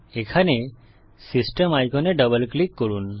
এখানে সিস্টেম আইকনে double click করুন